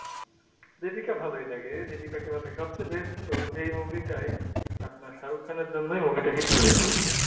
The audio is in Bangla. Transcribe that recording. deepika ভালোই লাগে deepika কে ভালোই লাগে সবচেয়ে best হল এই মুভি টাই আপনার shahrukh khan এর জন্য ই মুভি টা hit করেছে হম হম